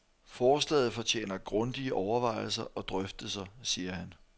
Forslaget fortjener grundige overvejelser og drøftelser, siger han.